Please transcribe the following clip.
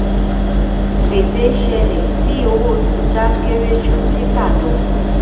gbèsè ṣẹlẹ̀ tí owó tita kéré ju títà lọ.